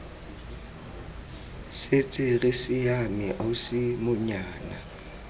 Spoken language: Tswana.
setse re siame ausi monyana